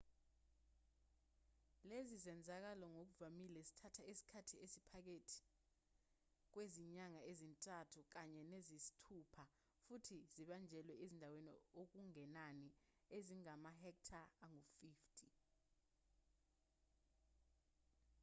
lezi zenzakalo ngokuvamile zithatha esikhathi esiphakathi kwezinyanga ezintathu kanye neziyisithupha futhi zibanjelwa ezindaweni okungenani ezingamahektare angu-50